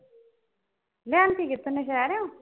ਲਿਆਂਦੀ ਕਿਥੋਂ ਬਜਾਰੋਂ